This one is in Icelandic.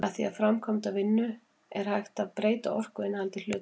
með því að framkvæma vinnu er hægt að breyta orkuinnihaldi hluta